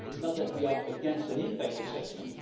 It is not that we are against an impact assessment